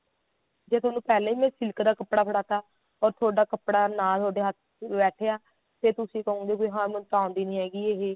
ਜੇ ਥੋਨੂੰ ਪਹਿਲਾਂ ਹੀ ਮੈਂ ਸਿਲਕ ਦਾ ਕੱਪੜਾ ਫੜਾ ਤਾ or ਕੱਪੜਾ ਨਾਂ ਤੁਹਾਡੇ ਹੱਥ ਚ ਬੈਠਿਆ ਤੇ ਤੁਸੀਂ ਕਹੋਗੇ ਹਾਂ ਵੀ ਮੈਨੂੰ ਤਾਂ ਆਉਂਦੀ ਨਹੀਂ ਹੈਗੀ ਇਹ